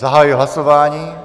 Zahajuji hlasování.